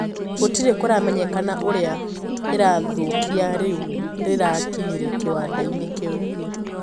Gũtirĩ kũramenyekana ũria irathoũkia riũ rirakinyire kiwandaini kiu.